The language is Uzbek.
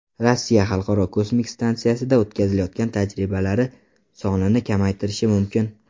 Rossiya Xalqaro kosmik stansiyada o‘tkazilayotgan tajribalari sonini kamaytirishi mumkin.